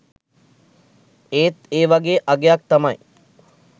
ඒත් ඒ වගේ අගයක් තමයි